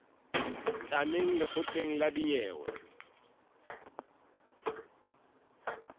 tla neng lekgotleng la dinyewe